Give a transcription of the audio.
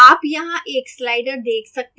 आप यहाँ एक slider देख सकते हैं